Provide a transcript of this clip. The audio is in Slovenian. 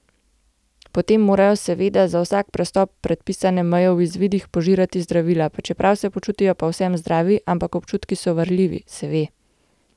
Potem morajo seveda za vsak prestop predpisane meje v izvidih požirati zdravila, pa čeprav se počutijo povsem zdravi, ampak občutki so varljivi, se ve.